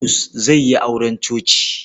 Bulus zai yi auren coci.